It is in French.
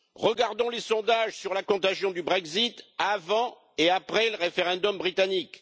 Regardons les sondages sur la contagion du Brexit avant et après le référendum britannique.